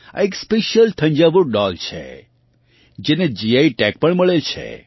આ એક special Thanjavur doll છે જેને જીઆઇ ટેગ પણ મળેલ છે